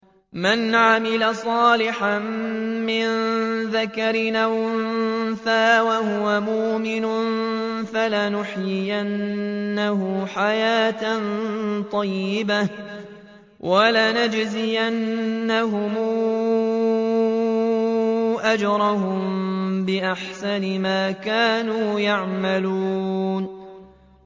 مَنْ عَمِلَ صَالِحًا مِّن ذَكَرٍ أَوْ أُنثَىٰ وَهُوَ مُؤْمِنٌ فَلَنُحْيِيَنَّهُ حَيَاةً طَيِّبَةً ۖ وَلَنَجْزِيَنَّهُمْ أَجْرَهُم بِأَحْسَنِ مَا كَانُوا يَعْمَلُونَ